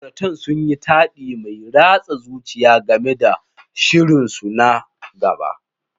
Ma'auratan sun yi taɗi mai ratsa zuciya game da shirinsu na gaba.